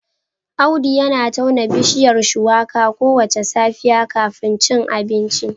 Audu yana tauna bishiyar Shuwaka kowace safiya kafin a ci abinci